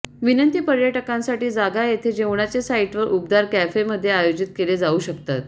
विनंती पर्यटकांसाठी जागा येथे जेवणाचे साइटवर उबदार कॅफे मध्ये आयोजित केले जाऊ शकतात